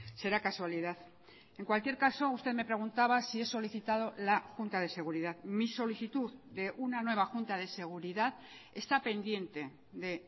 será casualidad en cualquier caso usted me preguntaba si he solicitado la junta de seguridad mi solicitud de una nueva junta de seguridad está pendiente de